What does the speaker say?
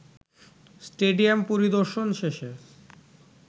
stadium পরিদর্শন শেষে